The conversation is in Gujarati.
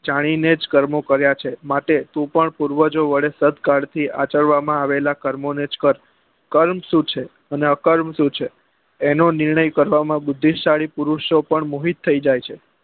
જાની ને જ કર્મો કર્યા છે માટે તું પણ પૂર્વજો વડે સત્કાલ થી આચરવા માં આવેલા કર્મો ને જ કર કર્મ શું છે અને અ કર્મ શું છે એનો નિર્ણય કરવા માં બુદ્ધિ શાળી પુરુષો પણ મોહિત થઇ જાય છે